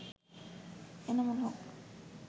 Enamul Haque